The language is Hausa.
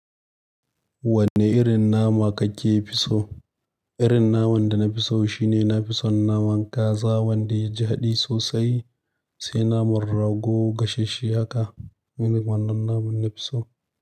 Wanne irin nama kake fi so? Irin naman da na fi so shine na fi son naman kaza wanda ya ji haɗi sosai, sai naman rago gashashshe haka. Wannan naman na fi so.